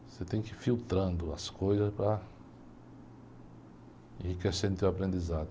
Você tem que ir filtrando as coisas para enriquecer no teu aprendizado.